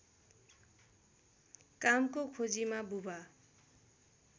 कामको खोजीमा बुबा